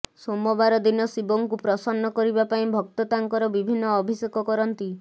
ସୋମବାର ଦିନ ଶିବଙ୍କୁ ପ୍ରସନ୍ନ କରିବା ପାଇଁ ଭକ୍ତ ତାଙ୍କର ବିଭିନ୍ନ ଅଭିଷେକ କରନ୍ତି